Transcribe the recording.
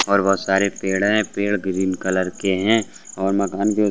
और वो सारे पेड़ हैं पेड़ ग्रीन कलर के है और मकान के --